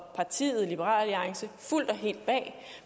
partiet liberal alliance fuldt og helt bag